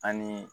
Ani